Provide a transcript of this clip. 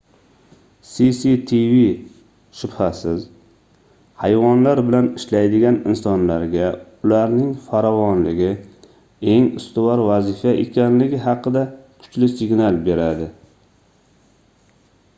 cctv shubhasiz hayvonlar bilan ishlaydigan insonlarga ularning farovonligi eng ustuvor vazifa ekanligi haqida kuchli signal beradi